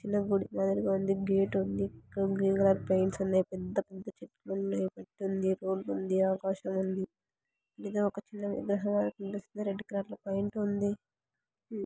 చిన్న గుడి ఎదురుగా ఉంది. గేట్ ఉంది గ్రీన్ కలర్ పెయింట్స్ ఉన్నాయి పెద్ద ఉంది. రోడ్డుంది . ఆకాశముంది ఏదో ఒక చిన్న విగ్రహము కనిపిస్తుంది. రెడ్ కలర్ లోపెయింట్ ఉంది.